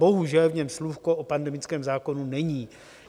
Bohužel v něm slůvko o pandemickém zákonu není.